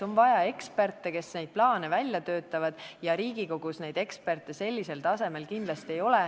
On vaja eksperte, kes neid plaane välja töötaksid, ja Riigikogus neid eksperte sellisel tasemel kindlasti ei ole.